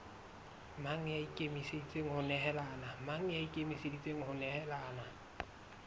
mang ya ikemiseditseng ho nehelana